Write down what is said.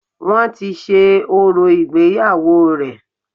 Wọ́n ti ṣe orò ìgbéyàwó rẹ̀